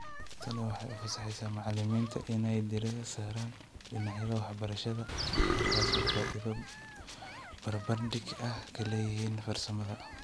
Tani waxay u fasaxaysaa macallimiinta inay diiradda saaraan dhinacyada waxbarashada halkaasoo ay faa'iido barbardhig ah ka leeyihiin farsamada.